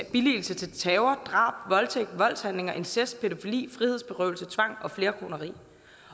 at billige terror drab voldtægt voldshandlinger incest pædofili frihedsberøvelse tvang og flerkoneri